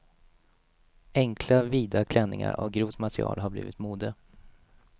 Enkla, vida klänningar av grovt material har blivit mode.